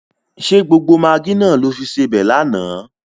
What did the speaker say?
Ṣé gbogbo magí náà lo fi sebẹ̀ lánàá?